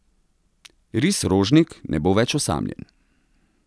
Ris Rožnik ne bo več osamljen.